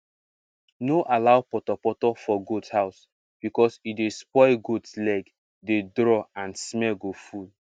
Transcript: no allow portoporto for goat house because e dey spoil goat lege dey draw and smell go full